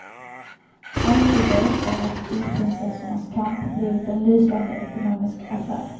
Allt vi vet är att isprinsessornas kamp blivit en lysande ekonomisk affär.